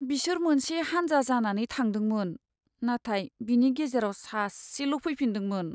बिसोर मोनसे हान्जा जानानै थांदोंमोन, नाथाय बिनि गेजेराव सासेल' फैफिन्दोंमोन।